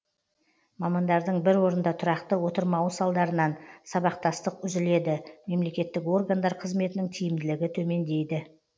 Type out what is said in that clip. мамандардың бір орында тұрақты отырмауы салдарынан сабақтастық үзіледі мемлекеттік органдар қызметінің тиімділігі төмендейді